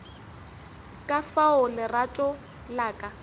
ka fao lerato la ka